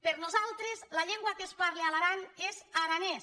per nosal·tres la llengua que es parla a l’aran és aranès